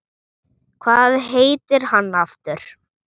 Hvað heitir hann aftur?